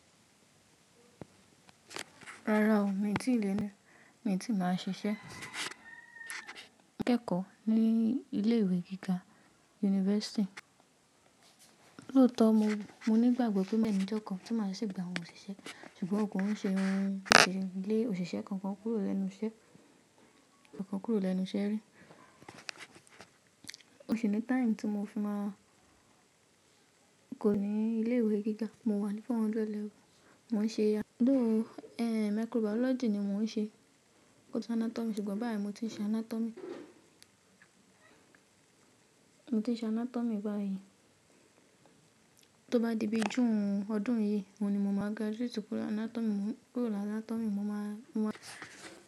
Rárá o, mi ò tí ì lè ní, mi ò tí ì máa ṣiṣẹ́ akẹẹkọ ní ilé ìwé gíga university. Lóòótọ́ mo, mo ní ìgbàgbọ́ pé beenì ijo kan tí máa sì gba àwọn òṣìṣẹ́, ṣùgbọ́n kon ń ṣe irun le, òṣìṣẹ́ kan kọ́ kúrò lẹ́nu iṣẹ́, kan kúrò lẹ́nu iṣẹ́ rí. Mo si ni time tí mo fi máa ku ní ilé ìwé gíga, mo wà ní 400 level, mò ń ṣe. Though, microbiology ni mò ń ṣe, kò tọ́ anatomy, ṣùgbọ́n báyìí mo ti ṣe anatomy. Mo ti ṣe anatomy báyìí. Tó bá di bi june ọdún yìí, oun ní mò máa graduate kúrò anatomy, kúrò anatomy, mo máa, mo máa.